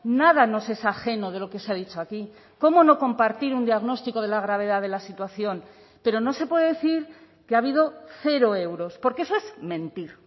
nada nos es ajeno de lo que se ha dicho aquí cómo no compartir un diagnóstico de la gravedad de la situación pero no se puede decir que ha habido cero euros porque eso es mentir